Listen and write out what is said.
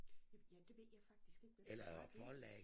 Ja det ved jeg faktisk ikke men du har ret i